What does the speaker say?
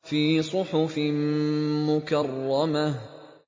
فِي صُحُفٍ مُّكَرَّمَةٍ